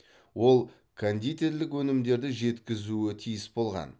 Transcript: ол кондитерлік өнімдерді жеткізуі тиіс болған